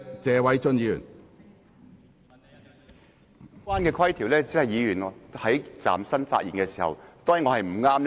主席，有關規條只適用於議員站立發言的時候。